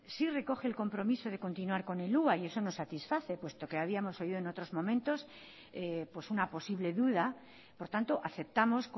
sí recoge el compromiso de continuar con el hua y eso nos satisface puesto que habíamos oído en otros momentos una posible duda por tanto aceptamos